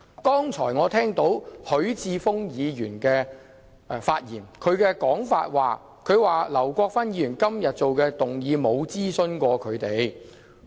剛才我聽到許智峯議員發言，指劉國勳議員今天提出的議案沒有諮詢他們眾多區議員。